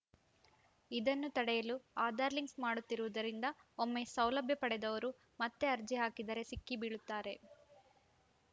ಇದನ್ನು ತಡೆಯಲು ಆಧಾರ್‌ ಲಿಂಕ್‌ ಮಾಡುತ್ತಿರುವುದರಿಂದ ಒಮ್ಮೆ ಸೌಲಭ್ಯ ಪಡೆದವರು ಮತ್ತೆ ಅರ್ಜಿ ಹಾಕಿದರೆ ಸಿಕ್ಕಿ ಬೀಳುತ್ತಾರೆ